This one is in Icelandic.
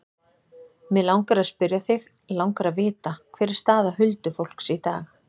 Mig langar að spyrja þig. langar að vita. hver er staða huldufólks í dag?